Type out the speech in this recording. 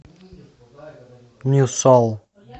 нью сол